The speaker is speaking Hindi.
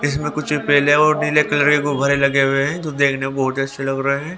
इसमें कुछ पीले और नीले कलर के गुब्बारे लगे हुए हैं जो देखने में बहोत अच्छे लग रहे हैं।